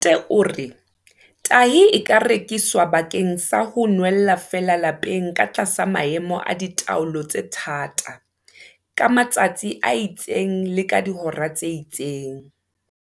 O re tahi e ka rekiswa bakeng sa ho nwella feela lapeng ka tlasa maemo a ditaelo tse thata, ka matsatsi a itseng le ka dihora tse itseng.